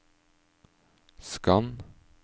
skann